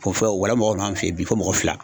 n'an fɛ ye bi fɔ mɔgɔ fila.